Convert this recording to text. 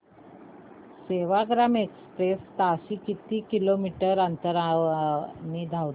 Sevagram express ताशी किती kilometre अंतराने धावते